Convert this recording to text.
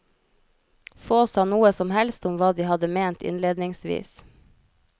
Få sa noe som helst om hva de hadde ment innledningsvis.